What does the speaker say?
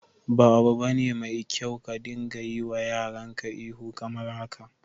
Ba 'abu bane mai kyau ka dinga yiwa yaran ka ihu kamar haka.